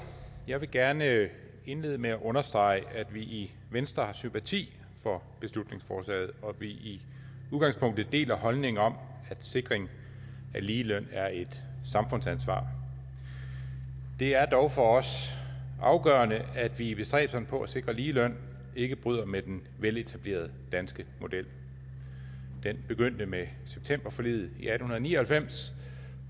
jeg vil gerne indlede med at understrege at vi i venstre har sympati for beslutningsforslaget og at vi i udgangspunktet deler holdningen om at sikring af ligeløn er et samfundsansvar det er dog for os afgørende at vi i bestræbelserne på at sikre ligeløn ikke bryder med den veletablerede danske model den begyndte med septemberforliget i atten ni og halvfems